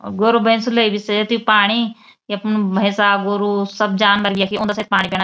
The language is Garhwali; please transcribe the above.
अगर भेसों लये सेयती पाणी यख्मा भेंसा गोरु सब जानवर यखी औंदा छन पाणी पीना।